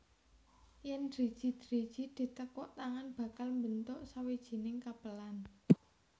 Yèn driji driji ditekuk tangan bakal mbentuk sawijining kepelan